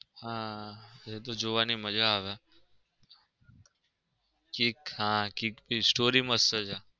હા એ તો જોવની મજા આવે કિક હા કિક ની story મસ્ત છે.